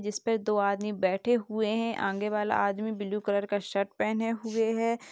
जिसपे दो आदमी बैठे हुए हैं आगे वाला आदमी ब्लू कलर का शर्ट पहने हुए हैं।